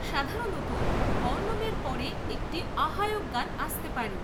সাধারণত বর্ণমের পরে একটি আহ্বায়ক গান আসতে পারে।